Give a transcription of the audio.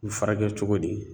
I bi furakɛ cogo di